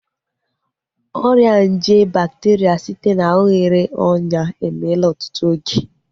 Ọrịa nje bakteria site na oghere ọnyà emeela ọtụtụ oge